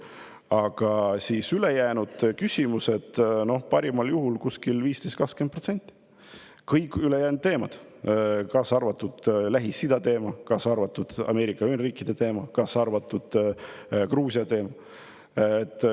Aga ülejäänud küsimused moodustasid parimal juhul 15–20% – kõik ülejäänud teemad, kaasa arvatud Lähis‑Ida teema, kaasa arvatud Ameerika Ühendriikide teema, kaasa arvatud Gruusia teema.